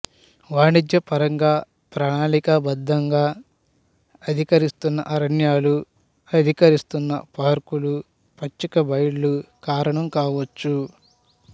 వాణిజ్యపరంగా ప్రణాళికా బద్ధంగా అధికరిస్తున్న అరణ్యాలు అధికరిస్తున్న పార్కులు పచ్చిక బయళ్ళు కారణం కావచ్చు